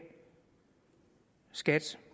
skat